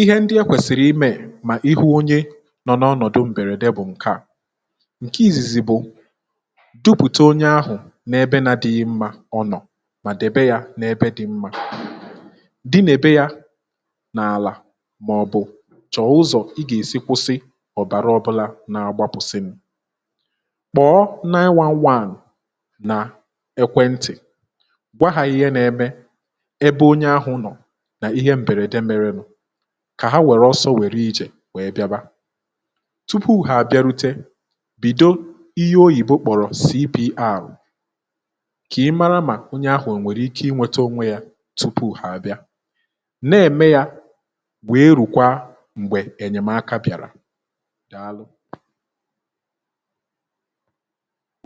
ihe ndị e kwèsìrì imė mà ihe onye nọ n’ọnọ̀dụ m̀bèrède bụ̀ ǹke à,nke izizi bu dupùte onye ahụ̀ n’ebe na adị̇ghị mmȧ ọ nọ̀ mà debe yȧ n’ebe dị̇ mmȧ dịyebe ya n’àlà màọ̀bụ̀ chọ̀o ụzọ̀ ị gà-èsi kwụsị ọ̀bàrà ọbụlà na-agbapụ̀sịm kpọ̀ọ 911 nà ekwentị̀ gwa hȧ ihe nȧ-eme ebe onye ahụ̇ nọ̀ nà ihe m̀bèrède mėrė nu kà ha wèrè ọsọ wèrè ijè wèe bịaba tupu hà àbịarute bido ihe oyibo kpọrọ CBR kà ị mara mà onye ahụ̀ nwèrè ike ị nweta onwe ya tupu ha abịa n’ème ya wee rùkwaa m̀gbè ènyèmaka bìàrà dàalụ